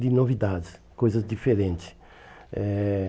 De novidades, coisas diferentes. Eh